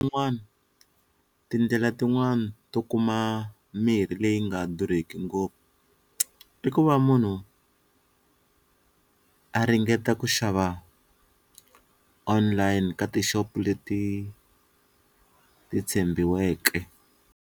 tindlela tin'wani to kuma mirhi leyi nga durheki ngopfu i ku va munhu a ringeta ku xava online ka tixopo leti ti tshembiweke.